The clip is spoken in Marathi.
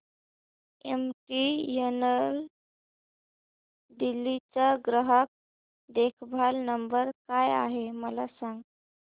एमटीएनएल दिल्ली चा ग्राहक देखभाल नंबर काय आहे मला सांग